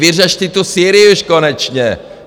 Vyřešte tu Sýrii už konečně!